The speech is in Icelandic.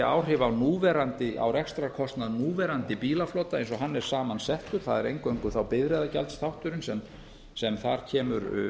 áhrif á rekstrarkostnað núverandi bílaflota eins og hann er samansettur það er eingöngu þá bifreiðagjaldsþátturinn sem þar kemur